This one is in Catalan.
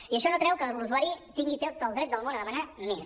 i això no treu que l’usuari tingui tot el dret del món a demanar més